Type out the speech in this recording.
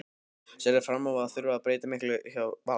Sérðu fram á að þurfa að breyta miklu hjá Val?